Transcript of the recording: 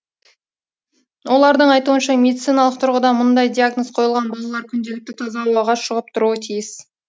олардың айтуынша медициналық тұрғыдан мұндай диагноз қойылған балалар күнделікті таза ауаға шығып тұруы тиіс